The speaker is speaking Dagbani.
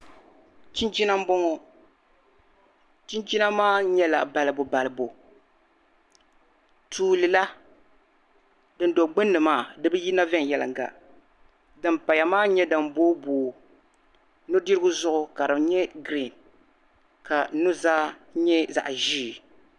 chinchina n bɔŋɔ chinchina maa nyɛla balibu balibu tuuli la din do gbunni maa di bɛ yina viɛnyɛlinga din paya maa nyɛ din booi booi nu'dirigu zuɣu ka di nyɛ green ka nu'zaa nyɛ zaɣ'ʒeei.